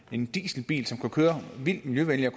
en dieselbil kan køre vildt miljøvenligt